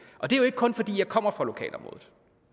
det er jo ikke kun fordi jeg kommer fra lokalområdet